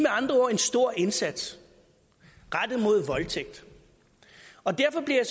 andre ord en stor indsats rettet mod voldtægt og derfor bliver